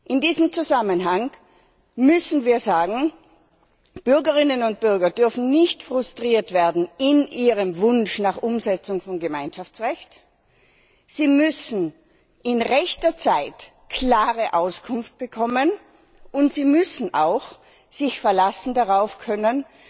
In diesem Zusammenhang müssen wir sagen Bürgerinnen und Bürger dürfen nicht frustriert werden in ihrem Wunsch nach Umsetzung von Gemeinschaftsrecht, sie müssen in rechter Zeit klare Auskunft bekommen und sie müssen sich auch darauf verlassen können,